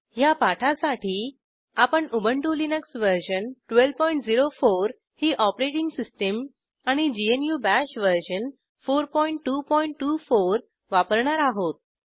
ह्या पाठासाठी आपण उबंटु लिनक्स वर्जन 1204 ही ऑपरेटिंग सिस्टीम आणि ग्नू बाश वर्जन 4224 वापरणार आहोत